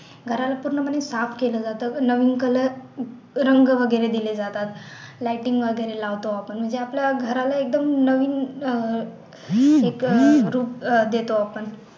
घराला पूर्णपणे साफ केलं जातं नवीन color रंग वगैरे केले जातात lighting वैगेरे लावतो आपण म्हणजे आपल्या घराला एकदम नवीन अह एक रूप देतो आपण